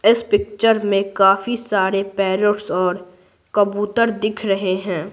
इस पिक्चर में काफी सारे पैरोट्स और कबूतर दिख रहे हैं।